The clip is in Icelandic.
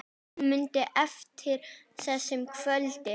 Hún mundi eftir þessu kvöldi.